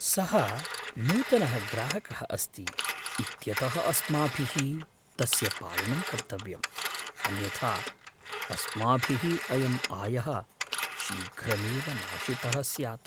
सः नूतनः ग्राहकः अस्ति इत्यतः अस्माभिः तस्य पालनं कर्तव्यम्, अन्यथा अस्माभिः अयं आयः शीघ्रमेव नाशितः स्यात्।